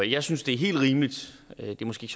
jeg synes det er helt rimeligt hvilket måske